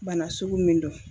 Bana sugu min do.